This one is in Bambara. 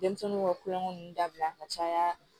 Denmisɛnninw ka kulonkɛ ninnu dabila ka caya